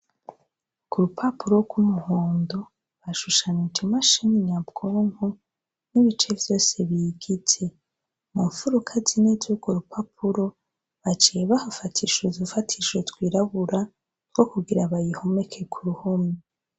Ku rupapuro rwumuhondo hashushanije imashini nyabwonko n'ibice vyose biyigize, mu mfuruka zine zurwo rupapuro baciye bahafatisha udufatisho twirabura two kugira bayihomeke ku ruhome.